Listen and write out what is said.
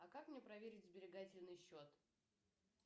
а как мне проверить сберегательный счет